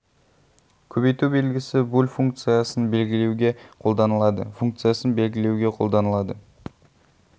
көбейту белгісі буль функциясын белгілеуге қолданылады функциясын белгілеуге қолданылады